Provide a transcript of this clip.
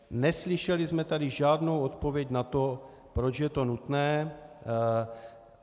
Neslyšeli jsme tady žádnou odpověď na to, proč je to nutné.